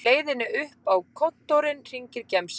Á leiðinni upp á kontórinn hringir gemsinn